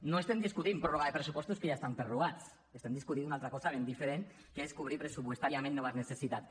no estem discutint pròrroga de pressupostos que ja estan prorrogats estem discutint una altra cosa ben diferent que és cobrir pressupostàriament noves necessitats